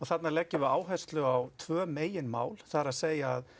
þarna leggjum við áherlsu á tvö megin mál það er að